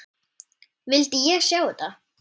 Vildi ég sjá þetta?